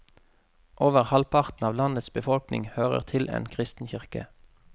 Over halvparten av landets befolkning hører til en kristen kirke.